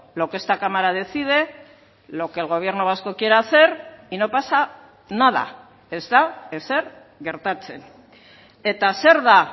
lo que esta cámara decide lo que el gobierno vasco quiere hacer y no pasa nada ez da ezer gertatzen eta zer da